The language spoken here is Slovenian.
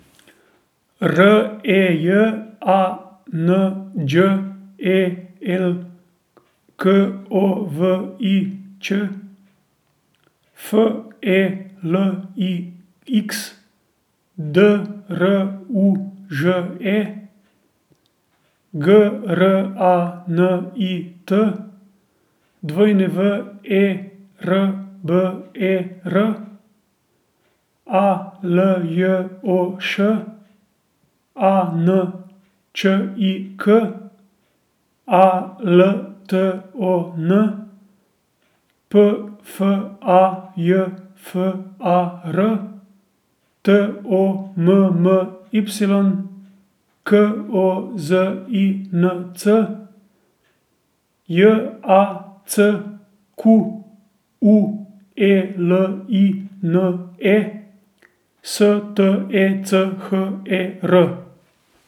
R E J, A N Đ E L K O V I Ć; F E L I X, D R U Ž E; G R A N I T, W E R B E R; A L J O Š, A N Č I K; A L T O N, P F A J F A R; T O M M Y, K O Z I N C; J A C Q U E L I N E, S T E C H E R.